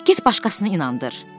Get başqasını inandır!